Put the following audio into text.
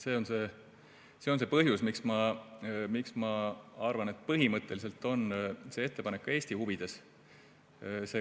See on see põhjus, miks ma arvan, et põhimõtteliselt on see ettepanek ka Eesti huvides.